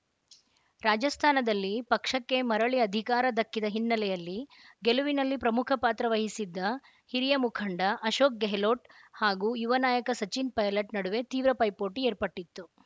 ರಾಜಸ್ಥಾನದಲ್ಲಿ ಪಕ್ಷಕ್ಕೆ ಮರಳಿ ಅಧಿಕಾರ ದಕ್ಕಿದ ಹಿನ್ನೆಲೆಯಲ್ಲಿ ಗೆಲುವಿನಲ್ಲಿ ಪ್ರಮುಖ ಪಾತ್ರ ವಹಿಸಿದ್ದ ಹಿರಿಯ ಮುಖಂಡ ಅಶೋಕ್‌ ಗೆಹ್ಲೋಟ್‌ ಹಾಗೂ ಯುವ ನಾಯಕ ಸಚಿನ್‌ ಪೈಲಟ್‌ ನಡುವೆ ತೀವ್ರ ಪೈಪೋಟಿ ಏರ್ಪಟ್ಟಿತ್ತು